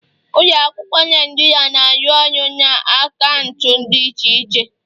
Ụlọ akụ Naijiria na-arụ ọrụ na akaụntụ dị iche iche